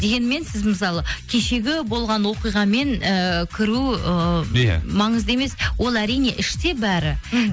дегенмен сіз мысалы кешегі болған оқиғамен ыыы кіру ыыы иә маңызды емес ол әрине іште бәрі мхм